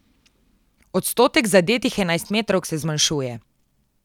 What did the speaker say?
Odstotek zadetih enajstmetrovk se zmanjšuje.